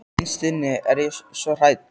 Innst inni er ég svo hrædd.